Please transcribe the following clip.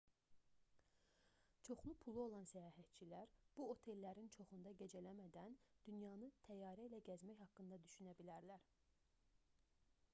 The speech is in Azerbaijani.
çoxlu pulu olan səyahətçilər bu otellərin çoxunda gecələmədən dünyanı təyyarə ilə gəzmək haqqında düşünə bilərlər